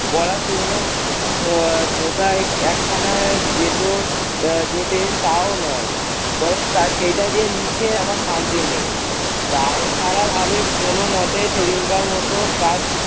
পড়াশুনো আহ ঢোকায় একখানা যেটো আহ জোটে তাও নয়। পরে তা সেইটা দিয়ে লিখে আমার শান্তি নেই। দায়সারা ভাবে কোনমতে সেদিনকার মতো কাজ-